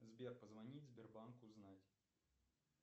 сбер позвонить в сбербанк узнать